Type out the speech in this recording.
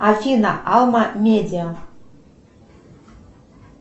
афина алма медиа